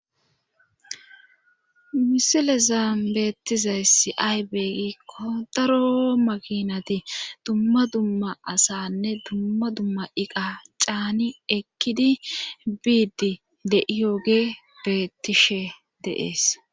misile zaan beettizayssi aybe gikko daro makinati dumma dumma asanne dumma dumma iqa caani ekkidi biidi de7iyooge bettishe de'ees